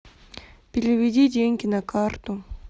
переведи деньги на карту